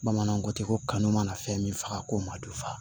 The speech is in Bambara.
Bamananw ko ten ko kanu mana fɛn min faga ko ma dufa